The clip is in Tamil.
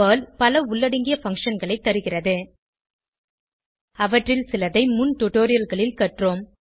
பெர்ல் பல உள்ளடங்கிய functionகளை தருகிறது அவற்றில் சில முன் டுடோரியல்களில் கற்றோம்